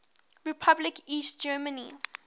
republic east germany